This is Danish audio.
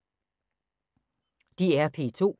DR P2